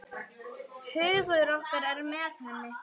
Hugur okkar er með henni.